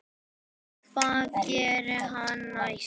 Og héldum þeirri stefnu áfram.